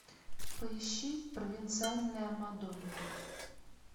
поищи провинциальная мадонна